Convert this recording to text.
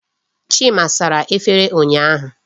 Chima sara efere ụnyaahụ.